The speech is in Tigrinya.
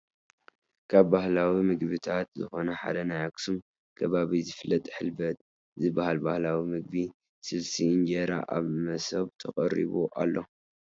ካብ ባህላዊ ምግብታት ዝኮነ ሓደ ናይ ኣክሱም ከባቢ ዝፍለጥ ሕልበት ዝበሃል ባህላዊ ምግቢ ፣ ስልሲ ፣ እንጀራ ኣብ መሰብ ተቀሪቡ ኣሎ።